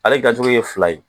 Ale dilancogo ye fila ye